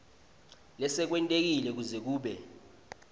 lesekwentekile kuze kube